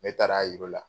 Ne taara a yir'u la